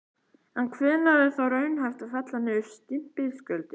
En hvenær er þá raunhæft að fella niður stimpilgjöldin?